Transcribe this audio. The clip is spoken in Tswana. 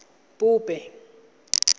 pope